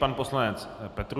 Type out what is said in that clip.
Pan poslanec Petrů.